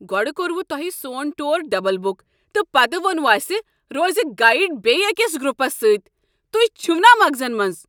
گۄڈٕ کوٚروٕ تۄہہ سون ٹوٗر ڈبل بک تہٕ پتہٕ ووٚنوٕ اسہ روز گیڈ بیٚیہ أکس گروپس سۭتۍ۔ تُہۍ چھِوٕ نا مغزن منٛز؟